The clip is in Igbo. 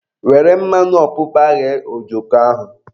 Were mmanụ ọpụpa ghee ojoko ahụ